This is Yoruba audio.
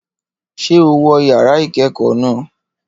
Ṣé o wọ yàrá ìkẹ́kọ̀ọ́ náà?